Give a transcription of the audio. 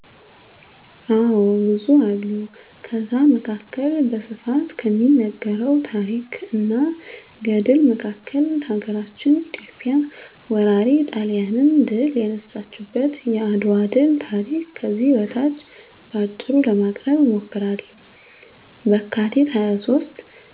አዎ ብዙ አሉ ከዛ መካከል በስፋት ከሚነገረው ታረክ እና ገድል መካከል ሀገራችን ኢትዮጵያ ወራሪ ጣሊያንን ድል የነሳችበት የአድዋ ድል ታሪክ ከዚህ በታች በአጭሩ ለማቅረብ እሞክራለሁ፦ በካቲት 23